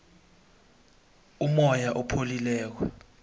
umoya opholileko